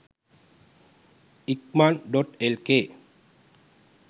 ikaman.lk